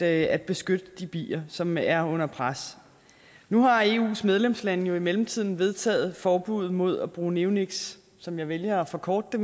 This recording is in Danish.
at beskytte de bier som er under pres nu har eus medlemslande jo i mellemtiden vedtaget forbud mod at bruge neoniks som jeg vælger at forkorte